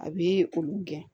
A bɛ olu gɛn